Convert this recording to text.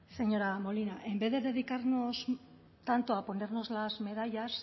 señora molina en vez de dedicarnos tanto a ponernos las medallas